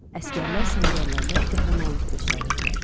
Əsgərlər səngərlərdə qəhrəmanlıq göstərirdilər.